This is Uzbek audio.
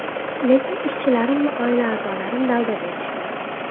Lekin ishchilarim va oila a’zolarim dalda berishdi.